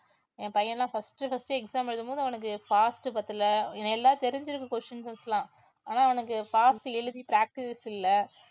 என் பையன் எல்லாம் first first exam எழுதும்போது அவனுக்கு fast பத்தல எல்லாம் தெரிஞ்சிருக்கு questions எல்லாம் ஆனா அவனுக்கு fast ஆ எழுதி practice இல்ல